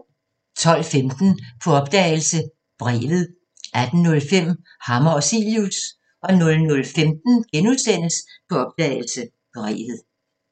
12:15: På opdagelse – Brevet 18:05: Hammer og Cilius 00:15: På opdagelse – Brevet *